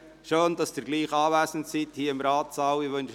Schön, dass Sie trotzdem hier im Ratssaal anwesend sind!